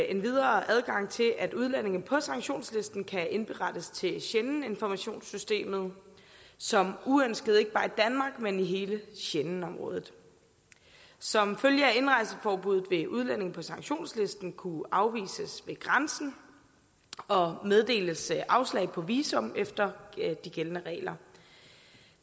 endvidere adgang til at udlændinge på sanktionslisten kan indberettes til schengeninformationssystemet som uønskede ikke bare i danmark men i hele schengenområdet som følge af indrejseforbuddet vil udlændinge på sanktionslisten kunne afvises ved grænsen og meddeles afslag på visum efter de gældende regler